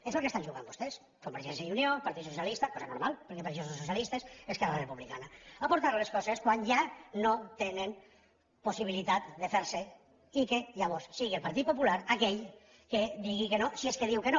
és al que estan jugant vostès convergència i unió partit socialista cosa normal perquè per això són socialistes esquerra republicana a portar les coses quan ja no tenen possibilitat de fer se i que llavors sigui el partit popular aquell que digui que no si és que diu que no